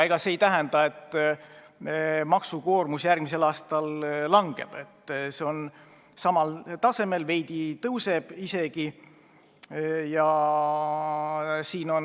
Aga see ei tähenda, et maksukoormus järgmisel aastal väheneb – see on samal tasemel ja veidi isegi kasvab.